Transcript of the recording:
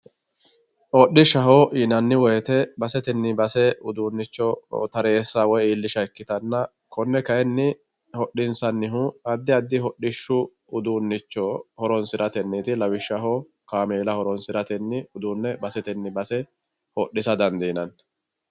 Hodhishshaho yinanni woyte basetenni base uduunicho taresa woyi iillisha ikkittanna kone kayinni hodhishshanihu addi addi hodhishshu uduunicho horonsirateniti lawishshaho kaameela horonsiratenni uduune baseteni base hodhissa dandiinanni.